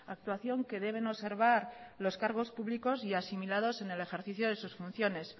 actuación que deben observar los cargos públicos y asimilados en el ejercicio de sus funciones